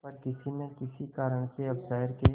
पर किसी न किसी कारण से अब शहर के